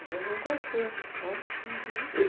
A gente não conhecia.